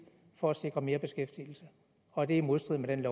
for at sikre mere beskæftigelse og at det er i modstrid med